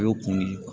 O y'o kun de ye